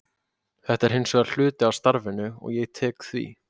Þetta er hins vegar hluti af starfinu og ég tek því.